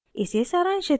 इसे सारांशित करते हैं